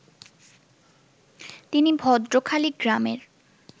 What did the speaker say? তিনি ভদ্রখালী গ্রামের